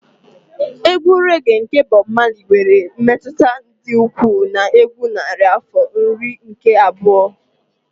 Egwu rẹ́ge nke Bob Marley nwere mmetụta dị ukwuu na egwu narị afọ nke iri abụọ.